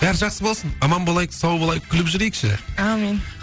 бәрі жақсы болсын аман болайық сау болайық күліп жүрейікші аумин